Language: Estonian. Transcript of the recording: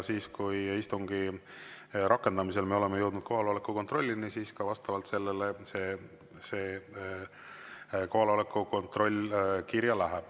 Kui me istungi rakendamisel oleme jõudnud kohaloleku kontrollini, siis vastavalt sellele see kohaloleku kontroll ka kirja läheb.